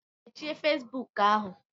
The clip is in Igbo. Mechie Facebook ahụ!